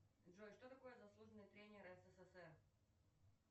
джой что такое заслуженный тренер ссср